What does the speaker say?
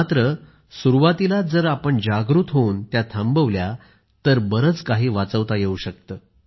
मात्र सुरुवातीलाच जर आपण जागृत होऊन त्या थांबवल्या तर बरेच काही वाचवता येऊ शकते